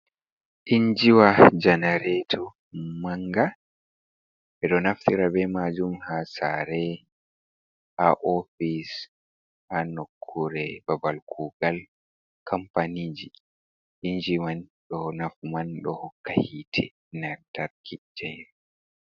Injiwa janareto manga, ɓeɗonaftira ɓemajum ha sare, ha ofis, ha nokure babal kugal kampanijii inji man ɗo nafu man ɗo hokka hite lantarki gen.